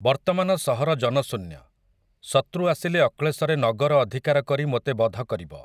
ବର୍ତ୍ତମାନ ସହର ଜନଶୂନ୍ୟ, ଶତୃ ଆସିଲେ ଅକ୍ଳେଶରେ ନଗର ଅଧିକାର କରି ମୋତେ ବଧ କରିବ ।